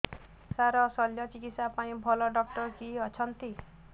ସାର ଶଲ୍ୟଚିକିତ୍ସା ପାଇଁ ଭଲ ଡକ୍ଟର କିଏ ଅଛନ୍ତି